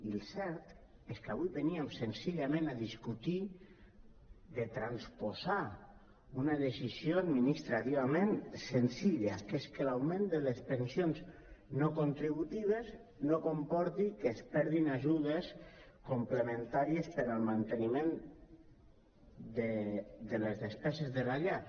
i el cert és que avui veníem senzillament a discutir de transposar una decisió ad·ministrativament senzilla que és que l’augment de les pensions no contributives no comporti que es perdin ajudes complementàries per al manteniment de les despeses de la llar